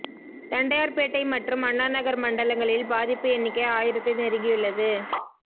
தண்டையார் பேட்டை மற்றும் அண்ணாநகர் மண்டலங்களில் பாதிப்பு எண்ணிக்கை ஆயிரத்தை நெருங்கியுள்ளது